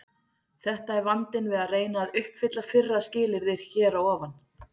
Þetta er vandinn við að reyna að uppfylla fyrra skilyrðið hér að ofan.